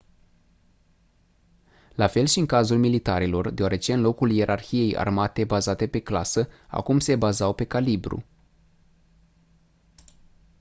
la fel și în cazul militarilor deoarece în locul ierarhiei armate bazate pe clasă acum se bazau pe calibru